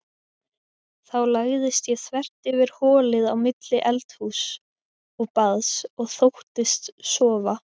Þá lagðist ég þvert yfir holið á milli eldhúss og baðs og þóttist sofa.